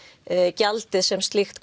gjaldið sem slíkt